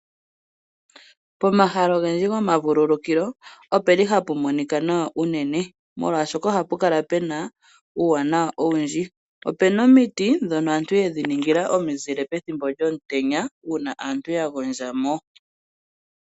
Pomahala ogendji gomavululukilo opeli hapu monika nawa unene molwaashoka ohapu kala pena uuwanawa owundji. Opuna omiti ndhono aantu yedhi ningila omizile pethimbo lyomutenya uuna aantu ya gondja mo.